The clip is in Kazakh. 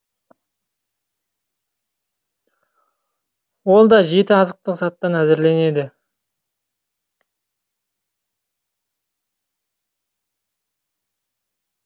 ол да жеті азықтық заттан әзірленеді